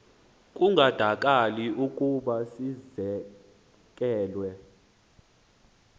kungandakali ukuba sizekelwe